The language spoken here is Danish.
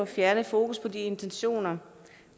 fjerner fokus fra de intentioner